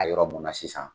A yɔrɔ mun na sisan